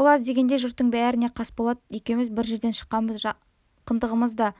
ол аз дегендей жұрттың бәріне қасболат екеуміз бір жерден шыққанбыз жақындығымыз да